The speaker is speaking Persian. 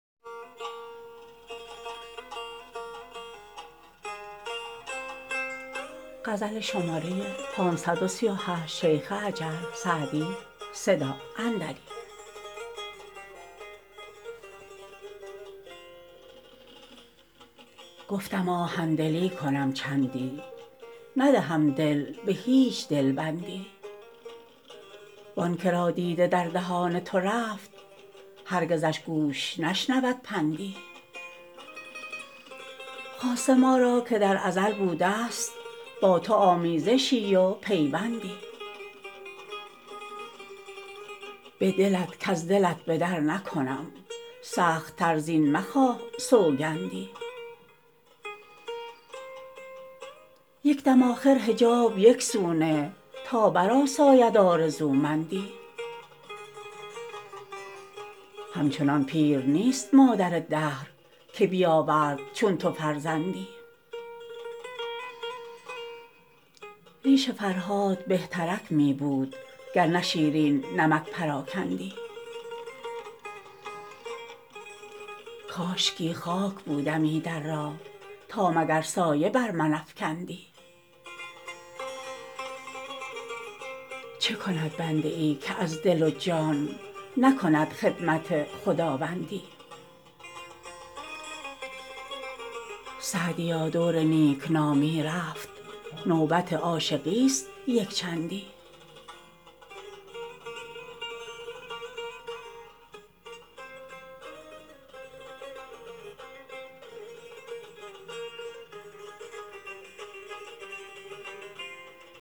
گفتم آهن دلی کنم چندی ندهم دل به هیچ دل بندی وآن که را دیده در دهان تو رفت هرگزش گوش نشنود پندی خاصه ما را که در ازل بوده است با تو آمیزشی و پیوندی به دلت کز دلت به در نکنم سخت تر زین مخواه سوگندی یک دم آخر حجاب یک سو نه تا برآساید آرزومندی همچنان پیر نیست مادر دهر که بیاورد چون تو فرزندی ریش فرهاد بهترک می بود گر نه شیرین نمک پراکندی کاشکی خاک بودمی در راه تا مگر سایه بر من افکندی چه کند بنده ای که از دل و جان نکند خدمت خداوندی سعدیا دور نیک نامی رفت نوبت عاشقی است یک چندی